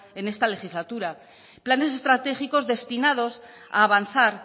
en esta legislatura planes estratégicos destinados a avanzar